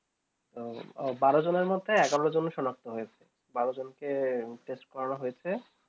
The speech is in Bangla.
বারো জন্যে মধ্যে এগারো জন সনাক্ত হয়েছে বারো জন কে test করানো হয়েছে